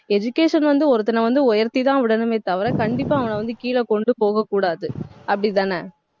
education வந்து, ஒருத்தனை வந்து உயர்த்திதான் விடணுமே தவிர கண்டிப்பா அவன வந்து, கீழ கொண்டு போகக் கூடாது. அப்படிதானே